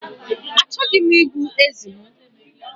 Achọghị m igbu ezi m.